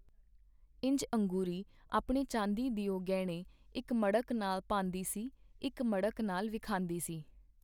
ਇੰਜ ਅੰਗੂਰੀ ਆਪਣੇ ਚਾਂਦੀ ਦਿਓ ਗਹਿਣੇ ਇਕ ਮੜਕ ਨਾਲ ਪਾਂਦੀ ਸੀ, ਇਕ ਮੜਕ ਨਾਲ ਵਿਖਾਂਦੀ ਸੀ.